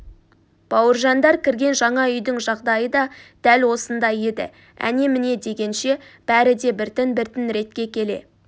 бауыржандар кірген жаңа үйдің жағдайы да дәл осындай еді әне-міне дегенше бәрі де біртін-біртін ретке келе